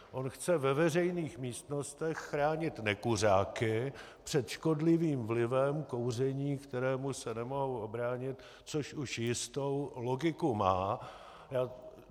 On chce ve veřejných místnostech chránit nekuřáky před škodlivým vlivem kouření, kterému se nemohou ubránit, což už jistou logiku má.